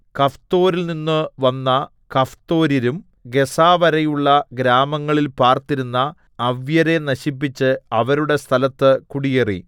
കഫ്തോരിൽനിന്നു വന്ന കഫ്തോര്യരും ഗസ്സാവരെയുള്ള ഗ്രാമങ്ങളിൽ പാർത്തിരുന്ന അവ്യരെ നശിപ്പിച്ച് അവരുടെ സ്ഥലത്ത് കുടിയേറി